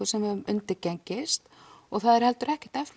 sem við höfum undirgengist og það er heldur ekkert